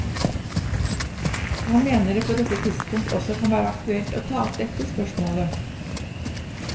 Han mener det på dette tidspunkt også kan være aktuelt å ta opp dette spørsmålet.